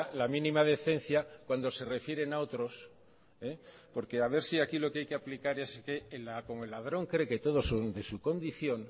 la mínima decencia cuando se refieren a otros porque a ver si aquí lo que hay que aplicar es que como el ladrón cree que todos son de su condición